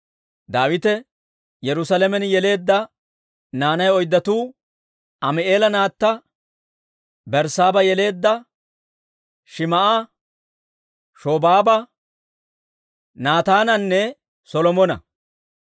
Daawite Yerusaalamen yeleedda naanay oyddatuu Ami'eela naatta Berssaaba yeleedda Shim"a, Shobaaba, Naataananne Solomona.